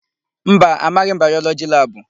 Mba, amaghị m Bayọlọgị labụ.